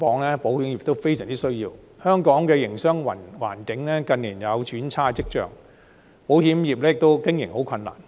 香港近年的營商環境有轉差跡象，保險業的經營很困難。